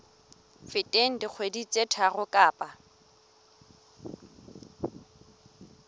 feteng dikgwedi tse tharo kapa